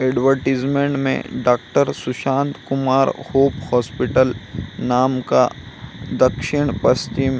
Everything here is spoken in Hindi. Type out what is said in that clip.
एडवरटाइजमेंट में doctor Sushant Kumar hope hospital नाम का दक्षिण-पश्चिम --